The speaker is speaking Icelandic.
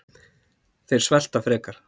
Þeir svelta frekar